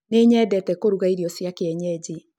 Nĩnyendete kũruga irĩo cia kĩenyenji